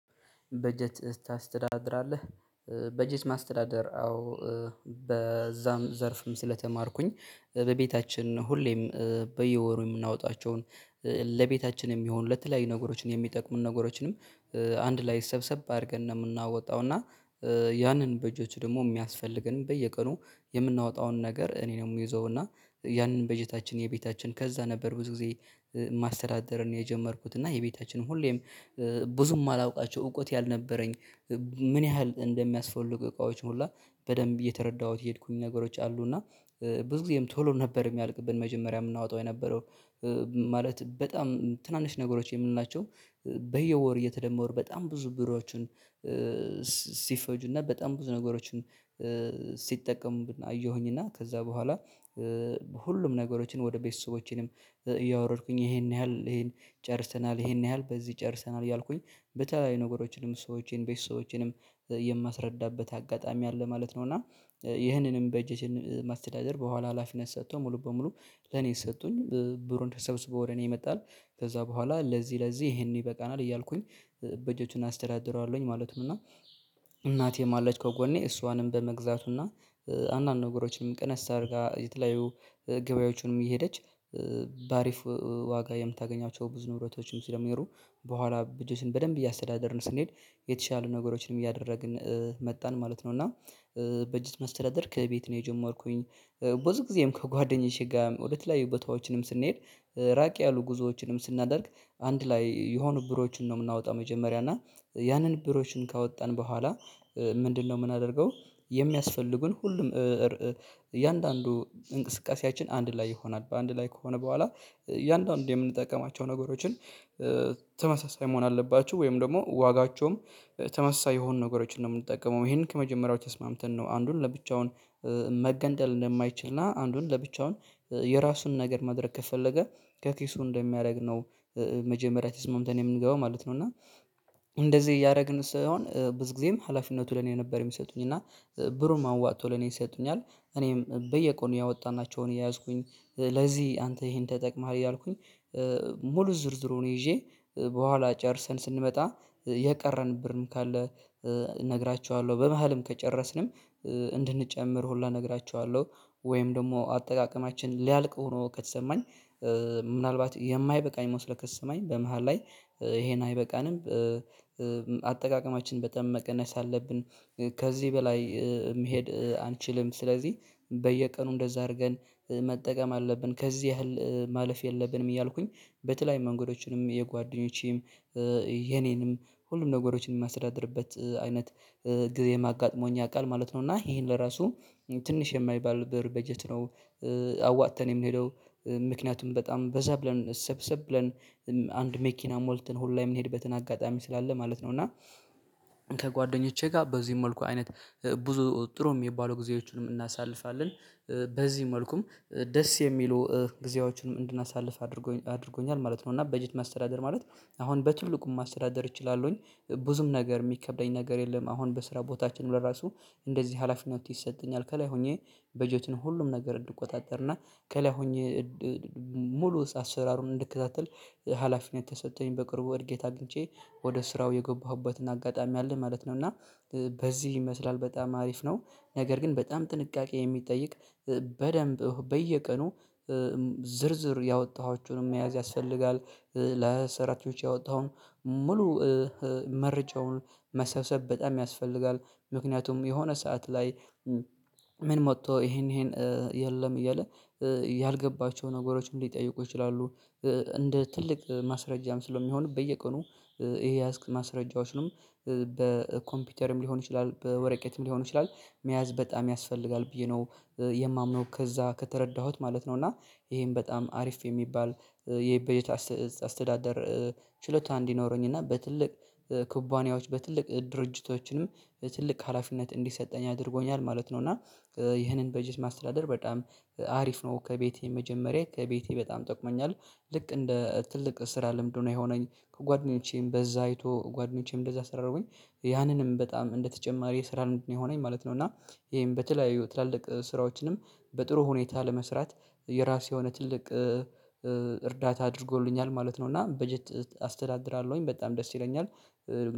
በጀት ታስተዳድራለህ በጀት ማስተዳደር አዎ። በዛም ዘርፍም ስለተማርኩኝ በቤታችን ሁሌም በየወሩ የምናወጣቸውን ለቤታችን የሚሆኑ ለተለያዩ ነገሮችን የሚጠቅሙን ነገሮችንም አንድ ላይ ሰብሰብ አድርገን ነው የምናወጣው። እና ያንን በጀቶች ደግሞ የሚያስፈልገንን በየቀኑ የምናወጣውን ነገር እኔ ነው የምይዘው። እና ያንን በጀታችን የቤታችን ከዛ ነበር ብዙ ጊዜ ማስተዳደርን የጀመርኩት እና የቤታችንም ሁሌም ብዙም አላውቃቸው እውቁት ያልነበረኝ። ምን ያህል እንደሚያስፈልጉ እቃዎች ሁላ በደንብ እየተረዳሁት የሄድኩኝ ነገሮች አሉ። እና ብዙ ጊዜም ቶሎ ነበር የሚያልቅብን መጀመሪያ የምናወጣው የነበረው ማለት በጣም ትናንሽ ነገሮች የምንላቸው በየወር የተደመረ በጣም ብዙ ብርዎችን። ሲፈጁና በጣም ብዙ ነገሮችን ሲጠቀሙ አየሁኝ እና ከዛ በኋላ ሁሉም ነገሮችን ወደ ቤተሰቦቼንም እያወረድኩኝ ይሄን ያህል ይሄን ጨርሰናል። ይሄን ያህል በዚህ ጨርሰናል ያልኩኝ በተለይ ነገሮችንም ሰዎችንም ቤተሰቦቼንም የማስረዳበት አጋጣሚ አለ ማለት ነው። እና ይህንንም በጀትን ማስተዳደር በኋላ ሀላፊነት ሰጥቶ ሙሉ በሙሉ ለኔ ሰጡኝ ብሩን ተሰብስቦ ወደ እኔ የመጣል። ከዛ በኋላ ለዚህ ለዚህ ይሄንን ይበቃናል እያልኩኝ በእጀቱን አስደራድረዋለሁኝ ማለትም እና እናቴም አለች ከጎኔ እሷንም በመግዛቱና አንዳንድ ነገሮችንም ቀነስ አድርጋ የተለያዩ ገበያዎቹንም እየሄደች በአሪፍ ዋጋ የምታገኛቸው ብዙ ንብረቶችም ሲለሚኖሩ በኋላ በደንብ እያስተዳደርን ስንሄድ የተሻሉ ነገሮችንም እያደረግን መጣን ማለት ነው። እና በጅት መስተዳደር ከቤት ነው የጆም የምርኩኝ ብዙ ጊዜም ከጓደኛዬ ጋር ወደተለያዪ ቦታዎችንም ስንሄድ ራቅ ያሉ ጉዞዎችንም ስናደርግ አንድ ላይ የሆኑ ብሮችን ነው የምናወጣው። መጀመሪያ እና ያንን ብሮችን ካወጣን በኋላ ምንድነው የምናደርገው? የሚያስፈልጉን ሁሉም እያንዳንዱ እንቅስቃሴያችን አንድ ላይ ይሆናል በአንድ ላይ ከሆነ በኋላ እያንዳንዱ የምንጠቀማቸው ነገሮችን ተመሳሳይ መሆን አለባችው ወይም ደግሞ ዋጋቸውም ተመሳሳይ የሆኑ ነገሮችን ነው የምንጠቀመው። ይሄንን ከመጀመሪያው ተስማምተን ነው አንዱን ለብቻውን መገንጠል እንደማይችል እና አንዱን ለብቻውን የራሱን ነገር ማድረግ ከፈለገ ከኪሱ እንደሚያደርግ ነው። መጀመሪያ ትስማምተን የምንገባው ማለት ነው። እና እንደዚህ እያደረግን ሲይሆን ብዙ ጊዜም ሀላፊነቱ ለኔ ነበር የሚሰጡኝ እና ብሩን ማዋጥቶ ለኔ ሰጡኛል። እኔም በየቀኑ ያወጣናቸውን የያዝኩኝ ለዚህ አንተ ይሄን ተጠቅመሃል ያልኩኝ። ሙሉ ዝርዝሩን ይዤ በኋላ ጨርሰን ስንመጣ የቀረን ብር ካለ እነግራችኋለሁ በመሃልም ከጨረስንም እንድንጨምር ሁላ እነግራችኋለሁ። ወይም ደግሞ አጠቃቀማችን ሊያልቅ ሆኖ ከተሰማኝ ምናልባት የማይበቃኝ መስሎ ከተሰማኝ በመሃል ላይ ይሄን አይበቃንም። አጠቃቀማችን በጣም መቀነስ አለብን። ከዚህ በላይ መሄድ አንችልም። ስለዚህ በየቀኑ እንደዛ አድርገን መጠቀም አለብን ከዚህ ያህል ማለፍ የለብንም። እያልኩኝ በተለያዩ መንገዶችንም የጓደኞቼም የኔንም ሁሉም ነገሮችንም የማስደድርበት አይነት ጊዜም አጋጥሞኝ ያውቃል ማለት ነው። እና ይሄን በራሱ ትንሽ የማይባል ብር በጀት ነው። አዋጥተን የምንሄደው ምክንያቱም በጣም በዛ ብለን ሰብሰብ ብለን አንድ መኪና ሞልተን ሁላ የምንሄድበትን አጋጣሚ ስላለ ማለት ነው። እና ከጓደኞቼ ጋር በዚህ መልኩ አይነት ብዙ ጥሩ የሚባለው ጊዜዎችንም እናሳልፋለን። በዚህ መልኩም ደስ የሚሉ ጊዜዎችንም እንድናሳልፍ አድርጎኛል ማለት ነው። እና በጀት ማስተዳደር ማለት አሁን በትልቁም ማስተዳደር እችላለሁኝ። ብዙም ነገር የሚከብደኝ ነገር የለም። አሁን በስራ ቦታችንም ለራሱ እንደዚህ ሀላፊነት ይሰጠኛል ከላይ ሆኜ በጀትን ሁሉም ነገር እንድትቆጣጠርና ከላይ ሆኜ ሙሉ አሰራሩን እንድከታተል ሀላፊነት ተሰጥቶኝ በቅርቡ እድገት አግኝቼ ወደ ስራው የጎባሁበትን አጋጣሚ አለ ማለት ነው። እና በዚህ ይመስላል በጣም አሪፍ ነው። ነገር ግን በጣም ጥንቃቄ የሚጠይቅ በደንብ በየቀኑ ዝርዝር ያወጣኋቸውን መያዝ ያስፈልጋል። ለሰራተኞች ያወጣውን ሙሉ መርጨውን መሰብሰብ በጣም ያስፈልጋል። ምክንያቱም የሆነ ሰዓት ላይ ምን ሞቶ ይሄን ይሄን የለም እያለ ያልገባቸው ነገሮች እንዲጠይቁ ይችላሉ። እንደ ትልቅ ማስረጃም ስለሚሆን በየቀኑ ይሄ ያዝክ ማስረጃዎችንም በኮምፒውተርም ሊሆን ይችላል በወረቄትም ሊሆን ይችላል። መያዝ በጣም ያስፈልጋል ብዬ ነው የማምነው ከዛ ከተረዳሁት ማለት ነው። እና ይሄን በጣም አሪፍ የሚባል የበጀት አስተዳደር ችሎታ እንዲኖረኝ እና በትልቅ ኩባንያዎች በትልቅ ድርጅቶችንም ትልቅ ሀላፊነት እንዲሰጠኝ አድርጎኛል ማለት ነው። እና ይህንን በጀት ማስተዳደር በጣም አሪፍ ነው። ከቤቴ መጀመሪያ ከቤቴ በጣም ጠቅሞኛል። ልክ እንደ ትልቅ ስራ ልምድ የሆነኝ ከጓደኞቼም በዛ አይቶ ጓደኞቼም እንደዛ ሰራሁኝ። ያንንም በጣም እንደተጨማሪ የስራ ነው የሆነኝ ማለት ነው። እና ይሄም ይሄን በተለያዩ ትላልቅ ስራዎችንም በጥሩ ሁኔታ ለመስራት የራስ የሆነ ትልቅ እርዳታ አድርጎልኛል ማለት ነው። እና በጀት አስተዳድራለሁኝ በጣም ደስ ይለኛል።